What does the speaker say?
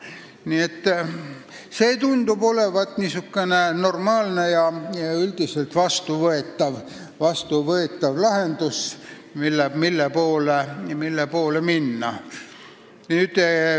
Nii et see tundub olevat normaalne ja üldiselt vastuvõetav lahendus, mille poole minna.